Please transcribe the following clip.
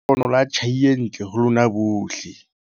Mahlohonolo a tjhai e ntle ho lona bohle!